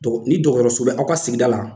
Dɔgɔ ni dɔgɔyɔrɔso bɛ aw ka sigida la